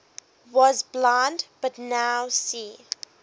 was blind but now see